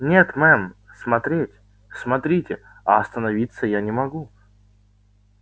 нет мэм смотреть смотрите а останавливаться я не могу